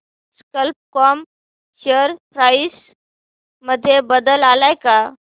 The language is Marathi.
कल्प कॉम शेअर प्राइस मध्ये बदल आलाय का